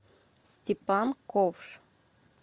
степан ковш